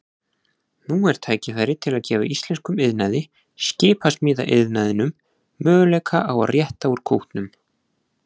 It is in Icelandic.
Nú er tækifæri til að gefa íslenskum iðnaði, skipasmíðaiðnaðinum, möguleika á að rétta úr kútnum.